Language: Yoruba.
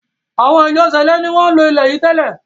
awọn “Ìjọ sẹ̀lẹ́” ni wọ́n ń lo ilé yìí tẹ́lẹ̀.